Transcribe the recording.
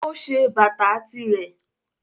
O ṣe bata tirẹ.